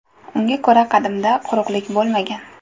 Unga ko‘ra, qadimda quruqlik bo‘lmagan.